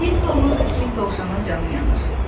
Hiss olunurdu ki, dovşana canı yanır.